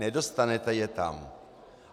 Nedostanete je tam.